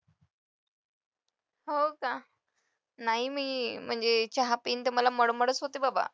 हो का? नाही मी म्हणजे चहा पेन तर मला मळमळच होते बाबा.